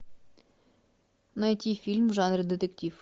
найти фильм в жанре детектив